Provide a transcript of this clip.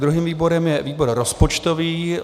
Druhým výborem je výbor rozpočtový.